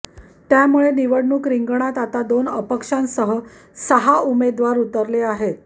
त्यामुळे निवडणूक रिंगणात आता दोन अपक्षांसह सहा उमेदवार उरले आहेत